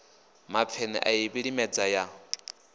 mapfene a i vhilimedza ya